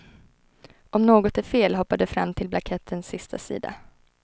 Om något är fel hoppar du fram till blankettens sista sida.